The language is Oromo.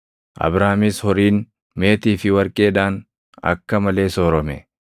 Abraamis horiin, meetii fi warqeedhaan akka malee soorome.